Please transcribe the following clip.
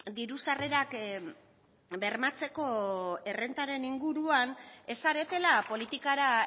diru sarrerak bermatzeko errentaren inguruan ez zaretela politikara